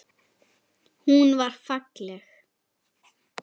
Hún var falleg.